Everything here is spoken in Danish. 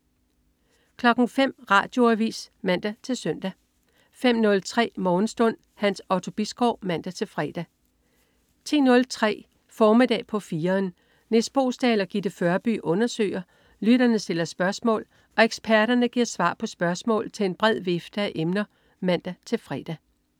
05.00 Radioavis (man-søn) 05.03 Morgenstund. Hans Otto Bisgaard (man-fre) 10.03 Formiddag på 4'eren. Nis Boesdal og Gitte Førby undersøger, lytterne stiller spørgsmål og eksperterne giver svar på spørgsmål til en bred vifte af emner (man-fre)